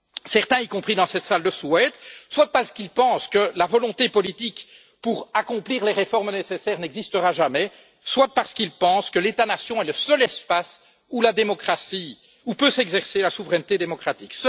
Certains, y compris dans cette salle, le souhaitent, soit parce qu'ils pensent que la volonté politique pour accomplir les réformes nécessaires n'existera jamais, soit parce qu'ils pensent que l'État nation est le seul espace où peut s'exercer la souveraineté démocratique.